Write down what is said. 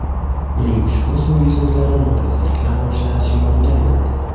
Uning ushbu so‘nggi so‘zlari norozilik namoyishlari shioriga aylandi.